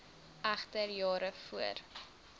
egter jare voor